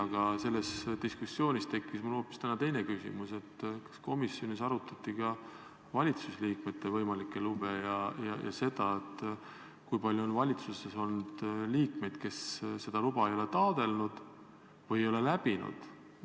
Aga selles diskussioonis tekkis mul täna hoopis teine küsimus: kas komisjonis arutati ka valitsusliikmete võimalikke lube ja seda, kui palju on valitsuses olnud liikmeid, kes seda luba ei ole taotlenud või ei ole läbinud?